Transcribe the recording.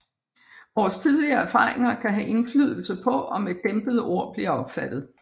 Vores tidligere erfaringer kan have indflydelse på om et dæmpet ord bliver opfattet